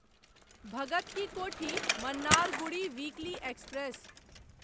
Bhagat Ki Kothi Mannargudi weekly express